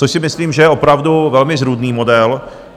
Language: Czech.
Což si myslím, že je opravdu velmi zrůdný model.